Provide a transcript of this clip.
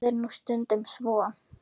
Það er nú stundum svo.